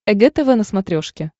эг тв на смотрешке